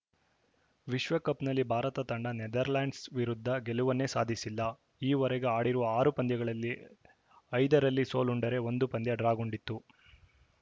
ವಿಶ್ವಕಪ್‌ನಲ್ಲಿ ಭಾರತ ತಂಡ ನೆದರ್‌ಲೆಂಡ್ಸ‌ ವಿರುದ್ಧ ಗೆಲುವನ್ನೇ ಸಾಧಿಸಿಲ್ಲ ಈ ವರೆಗೂ ಆಡಿರುವ ಆರು ಪಂದ್ಯಗಳಲ್ಲಿ ಐದರಲ್ಲಿ ಸೋಲುಂಡರೆ ಒಂದು ಪಂದ್ಯ ಡ್ರಾಗೊಂಡಿತ್ತು